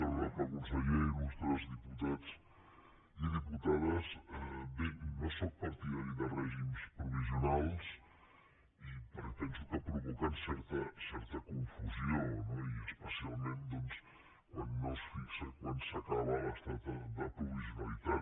honorable conseller il·lustres diputats i diputades bé no sóc partidari de règims provisionals perquè penso que provoquen certa confusió no i especialment doncs quan no es fixa quan s’acaba l’estat de provisionalitat